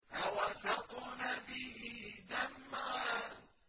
فَوَسَطْنَ بِهِ جَمْعًا